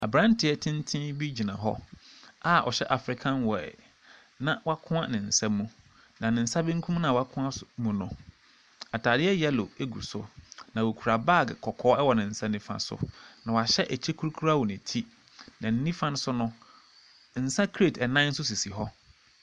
Abranteɛ tenten bi gyina hɔ a ɔhyɛ african wear na wɔakoa ne nsam mu. Na ne nsa benkum noa wɔakoa so mu no ataadeɛ yellow egu so na ɔkura bag kɔkɔɔ ɛwɔ ne nsa nifa so, na wɔahyɛ ɛkyɛ kurukuruwa wɔ ne ti na ne nifa so no nsa crate nnan nso sisi hɔ.